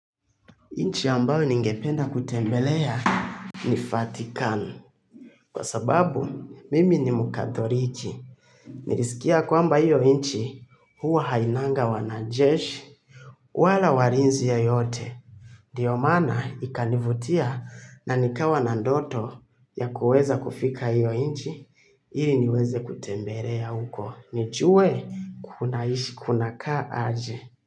Inchi ambayo ningependa kutembelea ni Fatikan. Kwa sababu, mimi ni mkathoriki. Nirisikia kwamba hiyo inchi huwa hainanga wanajeshi wala warinzi yoyote. Ndiyo mana ikanivutia na nikawa na ndoto ya kuweza kufika hiyo inchi ili niweze kutembelea huko. Nijue kunaishi kunakaa aje.